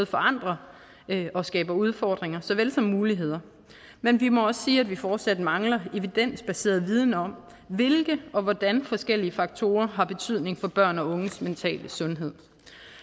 forandrer og skaber udfordringer såvel som muligheder men vi må også sige at vi fortsat mangler evidensbaseret viden om hvilke og hvordan forskellige faktorer har betydning for børn og unges mentale sundhed